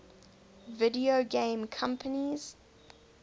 video game companies